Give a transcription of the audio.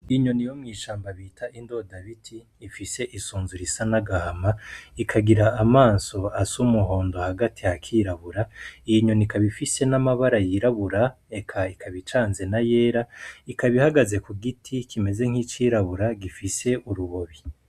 Inyoni yo mw'ishamba bita indoda biti ifise isunzu risa n'agahama ikagira amaso asa umuhondo hagati hakirabura iyi nyoni ikaba ifise n'amabara y'irabura eka ikaba icanze n'ayera ikaba ihagaze ku giti kimeze nk'icirabura gifise urubobi.